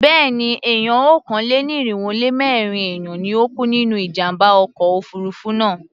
Béèni, èèyàn okòó-lé-ní-irínwó-lé-mẹ́rin èèyàn ni ó kú nínú ìjàmbá ọkọ̀ òfurufú náà.